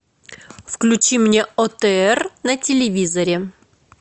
включи мне отр на телевизоре